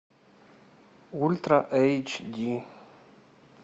ультра эйч ди